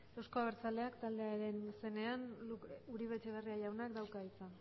euzko abertzaleak taldearen izenean uribe etxebarria jaunak dauka hitza